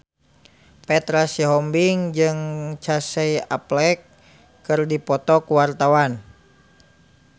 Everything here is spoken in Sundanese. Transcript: Petra Sihombing jeung Casey Affleck keur dipoto ku wartawan